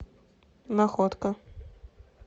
находка